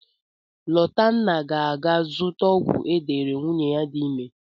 Lotanna ga-aga zụta ọgwụ e deere nwunye ya dị ime.